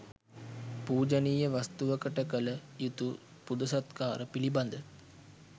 පූජනීය වස්තුවකට කළ යුතු පුද සත්කාර පිළිබඳ